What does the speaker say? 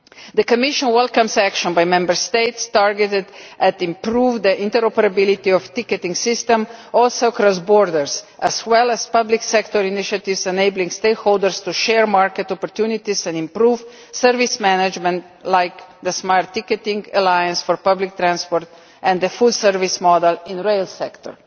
The Commission welcomes action by the Member States targeted at improving the interoperability of ticketing systems, including across borders, as well as public sector initiatives enabling stakeholders to share market opportunities and improve service management, like the smart ticketing alliance for public transport and the full service model in the rail sector.